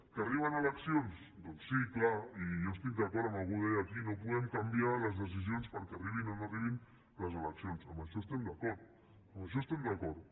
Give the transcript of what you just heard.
que arriben eleccions doncs sí clar i jo estic d’acord amb el que algú deia aquí no podem canviar les decisions perquè arribin o no arribin les eleccions amb això estem d’acord